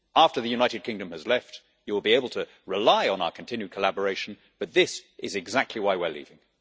After the United Kingdom has left, you will be able to rely on our continued collaboration, but this is exactly why we are leaving.